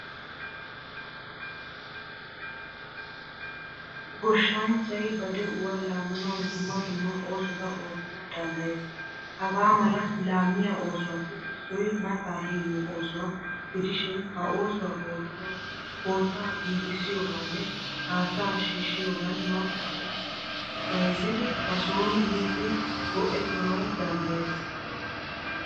Gooshshanchchay ba de'uwaa laammanawu dumma dumma oosotta oottanawu danddayees. Hagamala laammiyaa oosuwappe issoy matta heemmiyo oosuwaa gidishin ha oosuwaa oottanawu kootta giigisiyoganne hattaa shiishiyogan mattaa eessa bayzzidi ba sooni miidi go'ettanawu danddayees.